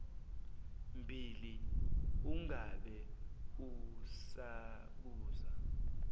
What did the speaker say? bhili ungabe usabuza